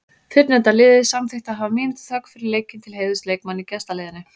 Fyrrnefnda liðið samþykkti að hafa mínútu þögn fyrir leikinn til heiðurs leikmanni í gestaliðinu.